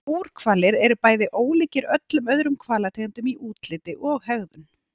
Búrhvalir eru bæði ólíkir öllum öðrum hvalategundum í útliti og hegðun.